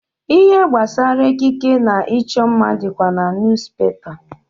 Ihe banyere ekike na ịchọ mma dịkwa na niyuzupepa.